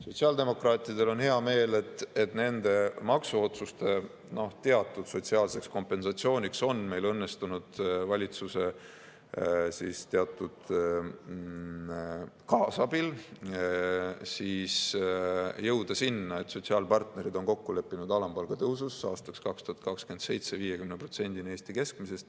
Sotsiaaldemokraatidel on hea meel, et nende maksuotsuste teatud sotsiaalseks kompensatsiooniks on meil õnnestunud valitsuse teatud kaasabil jõuda selleni, et sotsiaalpartnerid on kokku leppinud alampalga tõusus aastaks 2027, ja seda 50%-ni Eesti keskmisest.